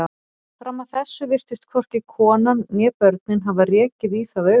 Fram að þessu virtust hvorki konan né börnin hafa rekið í það augun.